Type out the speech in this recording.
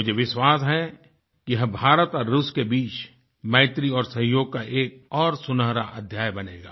मुझे विश्वास है कि ये भारत और रूस के बीच मैत्री और सहयोग का एक और सुनहरा अध्याय बनेगा